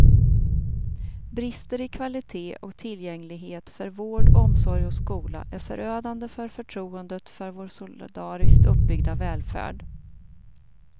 Brister i kvalitet och tillgänglighet för vård, omsorg och skola är förödande för förtroendet för vår solidariskt uppbyggda välfärd.